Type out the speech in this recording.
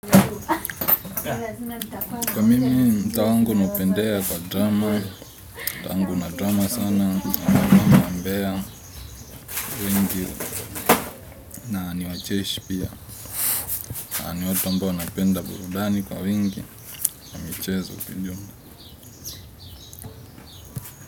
Kwa mimi mtaa wangu naupendea kwa drama, una drama sana, wambea wengi, na niwacheshi pia, na ni watu ambao wanapenda burudani kwa wingi, na michezo pia.